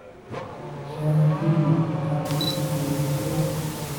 Shaaha Kenya waxaa lagu iibiyaa Yurub.